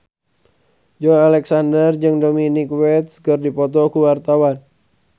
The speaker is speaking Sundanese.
Joey Alexander jeung Dominic West keur dipoto ku wartawan